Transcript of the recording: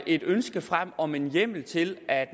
et ønske frem om en hjemmel til at